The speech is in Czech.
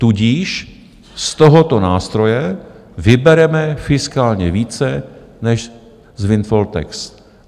Tudíž z tohoto nástroje vybereme fiskálně více než z windfall tax.